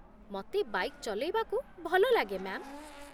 ମତେ ବାଇକ୍ ଚଲେଇବାକୁ ଭଲଲାଗେ, ମ୍ୟା'ମ୍ ।